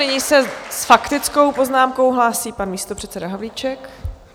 Nyní se s faktickou poznámkou hlásí pan místopředseda Havlíček.